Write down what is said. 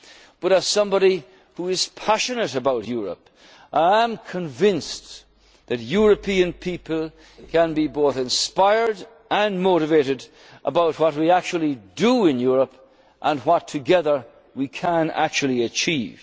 But as someone who is passionate about Europe, I am convinced that European people can be both inspired and motivated about what we actually do in Europe and what together we can actually